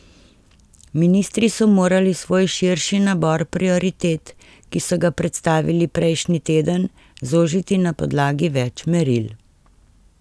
Ministri so morali svoj širši nabor prioritet, ki so ga predstavili prejšnji teden, zožiti na podlagi več meril.